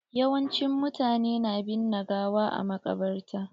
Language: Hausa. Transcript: Yawancin mutane na binne gawa a maƙabarta.